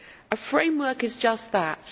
A framework is just that.